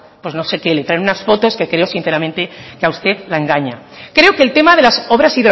le traen unas fotos que creo sinceramente que a usted le engañan creo que el tema de las obras